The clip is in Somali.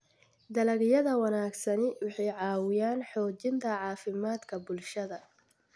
Dalagyada wanaagsani waxay caawiyaan xoojinta caafimaadka bulshada.